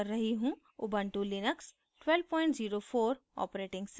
Ubuntu Linux 1204 operating system